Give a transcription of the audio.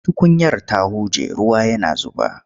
Tukunyar ta huje ruwa yana zuba.